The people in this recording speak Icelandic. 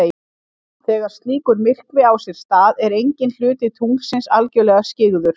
Þegar slíkur myrkvi á sér stað er enginn hluti tunglsins algjörlega skyggður.